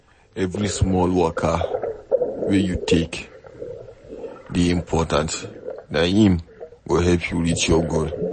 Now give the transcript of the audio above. Every small waka wey you take dey important, na im go help you reach your goal